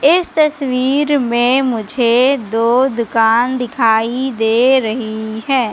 इस तस्वीर में मुझे दो दुकान दिखाई दे रही है।